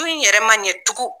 So in yɛrɛ man ɲɛ tugun